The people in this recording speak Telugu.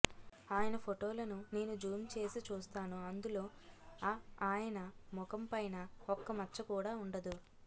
అయన ఫోటోలను నేను జూమ్ చేసి చూస్తాను అందులోఅ ఆయన ముఖం పైన ఒక్క మచ్చ కూడా ఉండదు